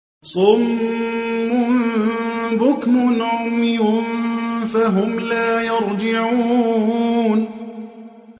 صُمٌّ بُكْمٌ عُمْيٌ فَهُمْ لَا يَرْجِعُونَ